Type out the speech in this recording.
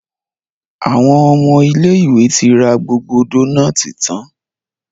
Àwọn ọmọ ilé ìwé tí ra gbogbo Dónáátì tán.